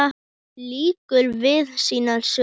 Hún lýkur við sínar sögur.